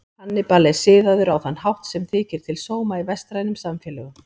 Hannibal er siðaður á þann hátt sem þykir til sóma í vestrænum samfélögum.